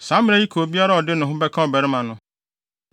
“ ‘Saa mmara yi ka obiara a ɔde ne ho bɛka ɔbarima no.